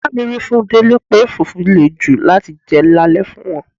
Ìyá mi wí fún Délé pé fufu lè jù láti jẹ lale fún wọn.